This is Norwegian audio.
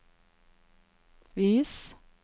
vis